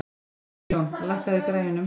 Sveinjón, lækkaðu í græjunum.